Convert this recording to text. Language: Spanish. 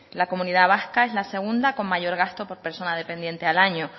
la comunidad vasca es la segunda con mayor gasto por persona dependiente al año